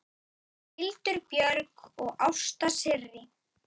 Hildur Björg og Ásta Sirrí.